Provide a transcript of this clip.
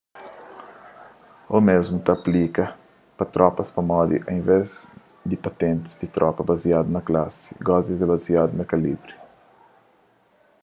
omésmu ta aplika pa tropas pamodi enves di patentis di tropa baziadu na klasi gosi esta baziadu na kalibri